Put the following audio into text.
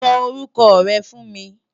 Sò órúkò rè fú n mi